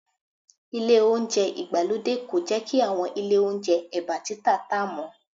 Ile Ohunjẹ́ ìgbàlódé kò jẹ́ kí àwọn ilé Ohunjẹ́ ẹ̀bá títì tá mọ́